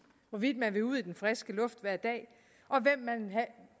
hvorvidt man vil ud i den friske luft hver dag